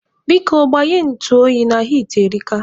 Biko, gbanye ntụ oyi na hiiti erika.